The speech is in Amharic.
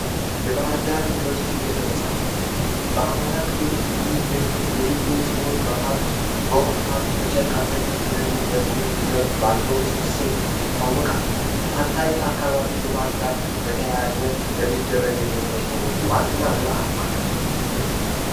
የባህርዳር ዩኒቨርስቲ ቤተመጻሕፍት በአማራ ክልል ውስጥ ከሚገኙ የሚገኝ ሲሆን በውሃ ሃብት በጨርቅ ኢንጂነሪንግ ባለው ስብስብ ይታወቃል። ከጣና ሀይቅ አካባቢ ልማት ጋር በተያያዘ ለሚደረግ የምርምር ስራዎች ዋና የጥናት ማዕከል ነው።